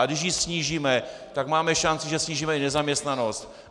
A když ji snížíme, tak máme šanci, že snížíme i nezaměstnanost.